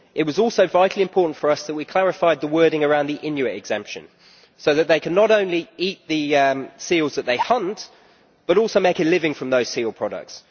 It was also vitally important for us that we clarified the wording around the Inuit exemption so that they cannot only eat the seals that they hunt, but also make a living from those seal products.